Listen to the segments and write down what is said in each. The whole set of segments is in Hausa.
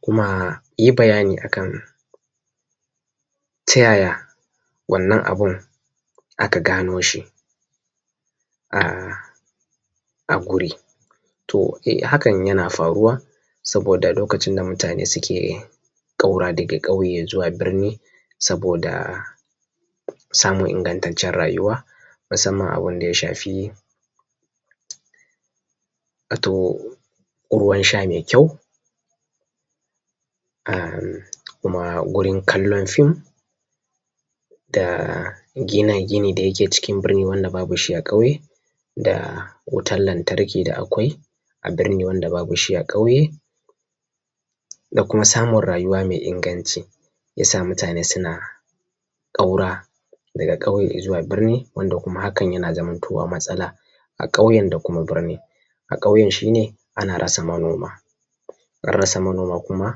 kuma yi bayani akan ta yaya wannan abun aka gano shi a guri. To hakan yana faruwa saboda lokacin da ,mutane suke ƙaura daga ƙauye zuwa birni, saboda samun ingantaccen rayuwa musamman abun da ya shafi ruwan sha mai kyau, kuma gurin kallon film da gina gini da yake cikin birni, wanda babu shi a ƙauye da wutan lantarki, da akwai a birni, wanda babu shi a ƙauye da kuma samun rayuwa mai inganci, yasa mutane suna ƙaura daga ƙauye zuwa birni, wanda kuma hakan yana zamantowa matsala a kauyen da kuma birni. A ƙauyen shi ne ana rasa manoma, ana sara manoma kuma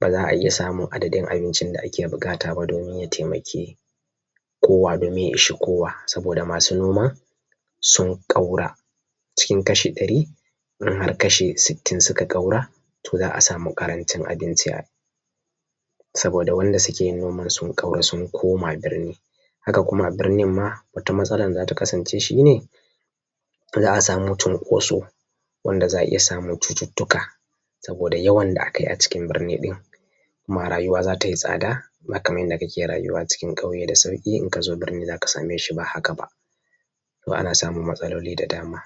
ba za a iya samun adadin abincin da ake buƙata domin ya taimaki kowa, domin ya ishi kowa. Saboda masu noma sun ƙaura cikin kashi ɗari in har kashi sittin suka ƙaura to za a samu ƙarancin abinci, saboda wanda suke yin noman sun ƙaura sun koma birni. Haka kuma birnin ma wata matsalan da zata kasance shi ne, za a samu cinkoso, wanda za a iya samun cututtuka saboda yawan da aka yi a cikin birni ɗin kuma rayuwa za tai tsada ba kaman yadda kake rayuwa cikin ƙauye da sauƙi in ka zo birni za ka same shi ba haka ba. Ana samun matsaloli da dama.